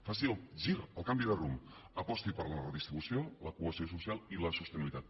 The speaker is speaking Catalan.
faci el gir el canvi de rumb aposti per la redistribució la cohesió social i la sostenibilitat